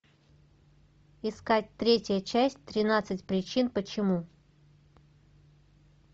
искать третья часть тринадцать причин почему